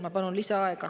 Ma palun lisaaega.